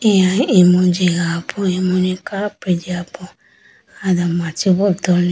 Eya imu jiga po imu ni kapri jiga po ayi do machi bo tuli.